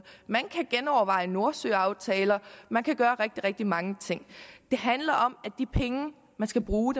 man kan genoverveje nordsøaftaler man kan gøre rigtig rigtig mange ting det handler om at de penge man skal bruge